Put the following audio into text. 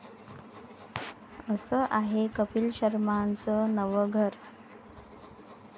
असं आहे कपील शर्माचं नवं 'घर'